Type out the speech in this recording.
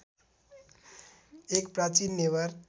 एक प्राचीन नेवार